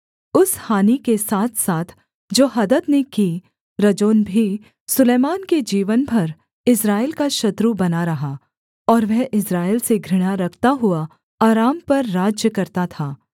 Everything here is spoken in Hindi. उस हानि के साथसाथ जो हदद ने की रजोन भी सुलैमान के जीवन भर इस्राएल का शत्रु बना रहा और वह इस्राएल से घृणा रखता हुआ अराम पर राज्य करता था